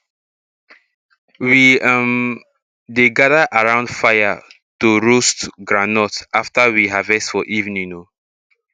we um dey gather around fire to roast groundnut after we harvest for evening um